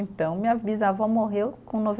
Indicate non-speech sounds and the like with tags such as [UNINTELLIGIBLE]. Então, minha bisavó morreu com [UNINTELLIGIBLE]